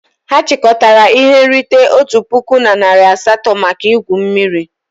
Ha chịkọtara ihe nrite otu puku na narị asatọ maka igwu mmiri.